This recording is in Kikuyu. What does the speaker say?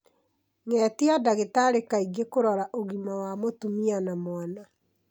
Ngetia ndagĩtarĩ kaingĩ kũrora ũgima wa mũtumia na mwana.